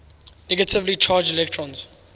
negatively charged electrons